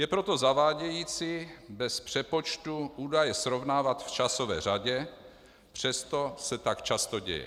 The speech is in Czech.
Je proto zavádějící bez přepočtu údaje srovnávat v časové řadě, přesto se tak často děje.